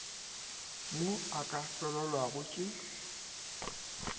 mo a ka felelwago ke